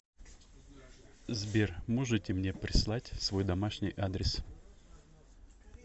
сбер можете мне прислать свой домашний адрес